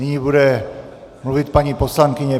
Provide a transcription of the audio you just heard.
Nyní bude mluvit paní poslankyně.